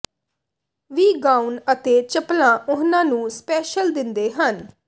ਵੀ gown ਅਤੇ ਚੱਪਲਾਂ ਉਹਨਾਂ ਨੂੰ ਸਪੈਸ਼ਲ ਦਿੰਦੇ ਹਨ